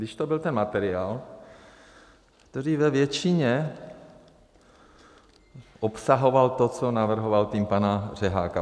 Když to byl ten materiál, který ve většině, obsahoval to, co navrhoval tým pana Řeháka.